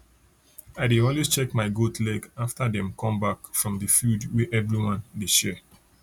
i dey always check my goat leg after dem come back from the field wey everyone dey share